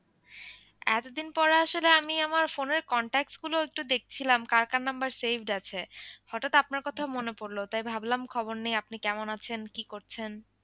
এতদিন পরে আসলে আমি আমার phone এর contacts গুলো একটু দেখছিলাম কার কার number saved আছে হঠাৎ আপনার কথা মনে পড়লো তাই ভাবলাম খবর নেই আপনি কেমন আছেন কি করছেন।